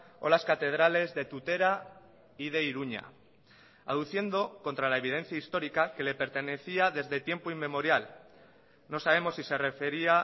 o las catedrales de tutera y de iruña aduciendo contra la evidencia histórica que le pertenecía desde tiempo inmemorial no sabemos si se refería